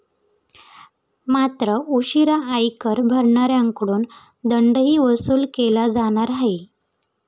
मात्र, उशिरा आयकर भरणाऱ्यांकडून दंडही वसूल केला जाणार आहे.